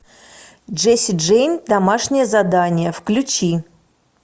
джесси джейн домашнее задание включи